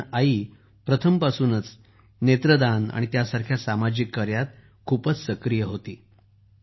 कारण त्या प्रथमपासूनच नेत्रदान आणि यासारख्या सामाजिक कार्यात खूपच सक्रीय होत्या